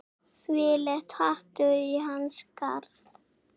Þvílíkt hatur í hans garð